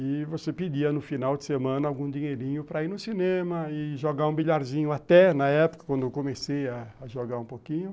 E você pedia no final de semana algum dinheirinho para ir no cinema e jogar um bilharzinho, até na época, quando eu comecei a jogar um pouquinho.